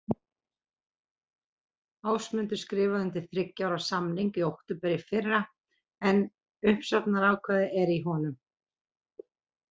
Ásmundur skrifaði undir þriggja ára samning í október í fyrra en uppsagnarákvæði er í honum.